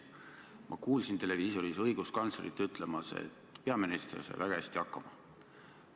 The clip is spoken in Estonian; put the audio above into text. Ma kuulsin televiisoris õiguskantslerit ütlemas, et peaminister sai väga hästi hakkama.